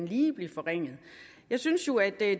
ville blive forringet jeg synes jo at